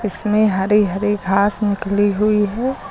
इसमें हरे हरे घास निकली हुई है।